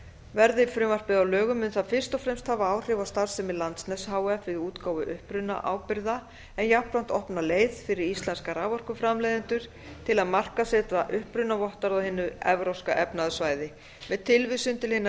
verði frumvarpið að lögum mun það fyrst og fremst hafa áhrif á starfsemi landsnets h f við útgáfu upprunaábyrgða en jafnframt opna leið fyrir íslenska raforkuframleiðendur til að markaðssetja upprunavottorð á hinu evrópska efnahagssvæði með tilvísun til hinnar